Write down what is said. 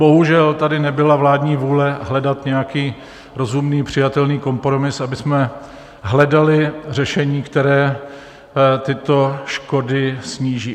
Bohužel tady nebyla vládní vůle hledat nějaký rozumný, přijatelný kompromis, abychom hledali řešení, které tyto škody sníží.